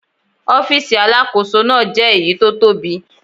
Ọ́fíìsì Alákóso náà jẹ́ èyí tó tóbi.